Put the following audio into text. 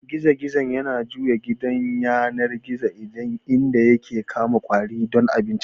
Gizo-gizo yana jujjuya gidan yanar gizo inda yake kama ƙwari don abincinsa.